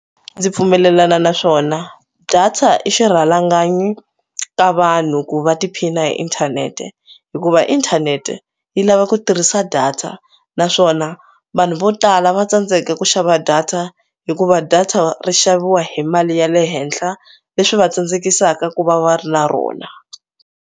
Ndzi pfumelelana na swona data i xirhalanganyi ka vanhu ku va tiphina hi inthanete hikuva inthanete yi lava ku tirhisa data naswona vanhu vo tala va tsandzeka ku xava data hikuva data ri xaviwa hi mali ya le henhla leswi va tsandzekisaka ku va va ri na rona.